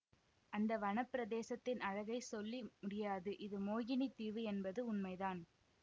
அந்த வன பிரதேசத்தின் அழகைச் சொல்லி முடியாது இது மோகினித் தீவு என்பது உண்மைதான்